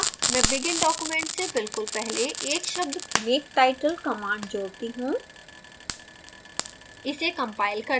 अतः मैं begin document से बिल्कुल पहले एक शब्द make title command जोडती हूँ